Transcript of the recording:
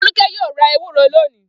Folúkẹ́ yóò ra ewúro lónìí.